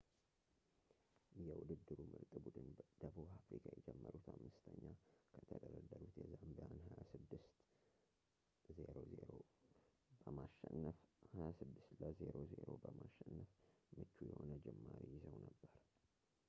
የውድድሩ ምርጥ ቡድን ደቡብ አፍሪካ የጀመሩት 5ኛ ከተደረደሩት የዛምቢያን 26 - 00 በማሸነፍ ምቹ የሆነ ጅማሬ ይዘው ነበር